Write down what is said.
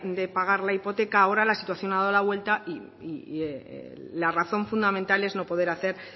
de pagar la hipoteca ahora la situación ha dado la vuelta y la razón fundamental es no poder hacer